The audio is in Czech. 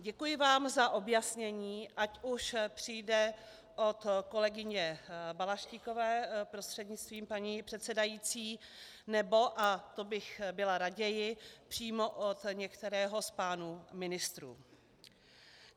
Děkuji vám za objasnění, ať už přijde od kolegyně Balaštíkové, prostřednictvím paní předsedající, nebo - a to bych byla raději - přímo od některého z pánů ministrů.